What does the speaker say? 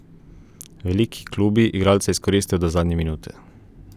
Veliki klubi igralca izkoristijo do zadnje minute.